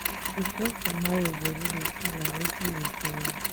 reflect on how your body dey feel and wetin e dey tell you